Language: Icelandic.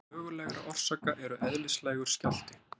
Meðal mögulegra orsaka eru Eðlislægur skjálfti.